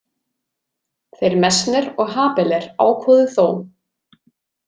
Þeir Messner og Habeler ákváðu þó.